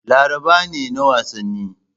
Laraba ne na wasanni.